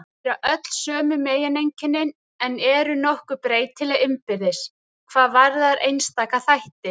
Þau bera öll sömu megineinkennin en eru nokkuð breytileg innbyrðis hvað varðar einstaka þætti.